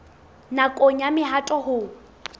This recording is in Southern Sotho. nakong ya mehato ya ho